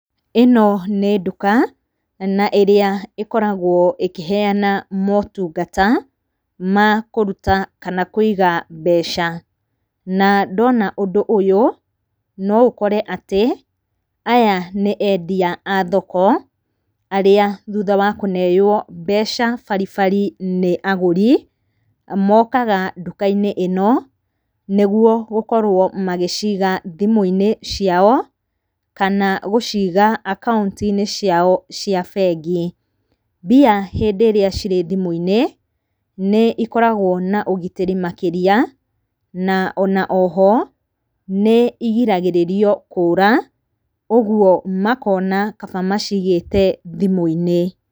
Ĩno nĩ nduka na ĩrĩa ĩkoragwo ĩkĩheyana motungata ma kũruta kana kũiga mbeca. Na ndona ũndũ ũyũ no ũkore atĩ aya nĩ endia a thoko arĩa thutha wa kũneo mbeca baribari nĩ aguri, mokaga nduka-inĩ ĩno nĩguo gũkorwo magĩciga thimũ-inĩ ciao kana gũciga akaunti-inĩ ciao cia bengi. Mbia hĩndĩ ĩrĩa cirĩ thimũ-inĩ nĩikoragwo na ũgitĩri makĩria na ona oho nĩirigagĩrĩria kũra ũguo makona kaba macigĩte thimũ-inĩ.